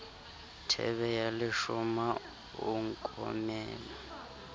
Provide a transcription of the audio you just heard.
thebe ya leshoma o nkomela